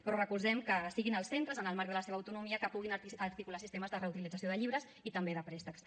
però recolzem que siguin els centres en el marc de la seva autonomia que puguin articular sistemes de reutilització de llibres i també de préstecs